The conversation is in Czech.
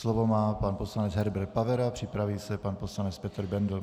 Slovo má pan poslanec Herbert Pavera, připraví se pan poslanec Petr Bendl.